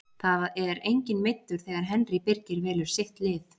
Það er enginn meiddur þegar Henry Birgir velur sitt lið.